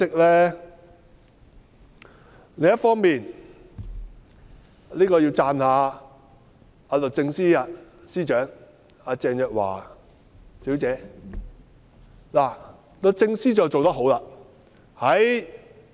另一方面，我要讚一讚律政司司長鄭若驊女士及律政司做得好。